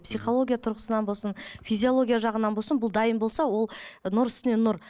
психологиялық тұрғысынан болсын физиологиялық жағынан болсын бұл дайын болса ол нұр үстіне нұр